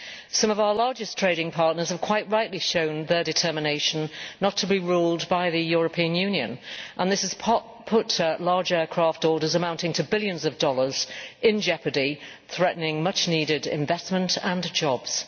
Some of our largest trading partners have quite rightly shown their determination not to be ruled by the European Union and this has put large aircraft orders amounting to billions of dollars in jeopardy, threatening much needed investment and jobs.